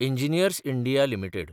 engineers India limited